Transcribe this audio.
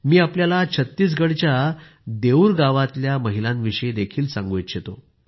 मी आपल्याला छत्तीसगडच्या देऊर गावातल्या महिलांविषयीही सांगू इच्छितो